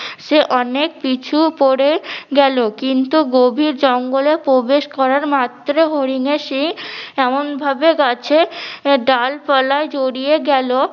সে অনেক পিছু পরে গেলো কিন্তু গভীর জঙ্গলে প্রবেশ করার মাত্র হরিনের সিং এমনভাবে গাছে ডালপালায় জড়িয়ে গেলো